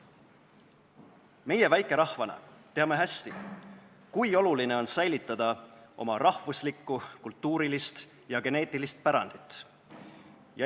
Meie väikerahvana teame hästi, kui oluline on säilitada oma rahvuslikku, kultuurilist ja geneetilist pärandit.